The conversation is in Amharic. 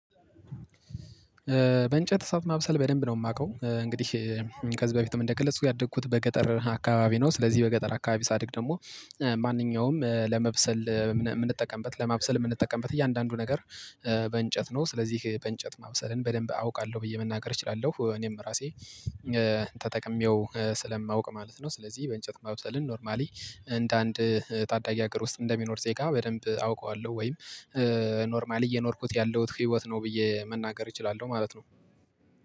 በእንጨት እሳት ማብሰል በደንብ ነው የማውቀው እንግዲህ ከዚህ በፊትም እንደገለፅኩት ያደግኩት በገጠር አካባቢ ነው ስለዚህ በገጠር አካባቢ ሳድግ ደግሞ ማንኛውም ለመብሰል የምንጠቀምበት ለማብሰል የምንጠቀምበት እያንዳንዱ ነገር በእንጨት ነው ስለዚህ በእንጨት ማብሰልን በደንብ አውቃለሁ ብዬ መናገር እችላለሁ እኔም ራሴ ተጠቅሜው ስለማውቅ ማለት ነው ስለዚህ በእንጨት ማብሰልን ኖርማሊ እንደ አንድ ታዳጊ ሀገር ውስጥ እንደሚኖር ዜጋ በደንብ አውቀዋለሁ ወይም ኖርማሊ እየኖርኩት ያለሁት ህይወት ነው ብዬ መናገር እችላለሁ ማለት ነው።